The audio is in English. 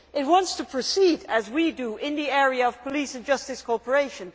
It wants to proceed as we do in the area of police and justice cooperation.